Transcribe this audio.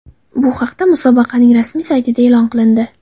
Bu haqda musobaqaning rasmiy saytida e’lon qilindi .